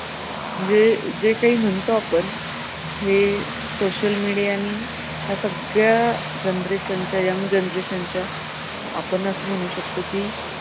हे जे कांही म्हणतो आपण हे social media नी ह्या सगळ्या generation च्या young generation च्या आपण असं म्हणू शकतो की